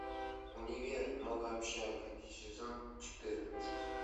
универ новая общага сезон четырнадцать